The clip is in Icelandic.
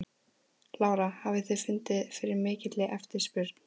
Lára: Hafið þið fundið fyrir mikilli eftirspurn?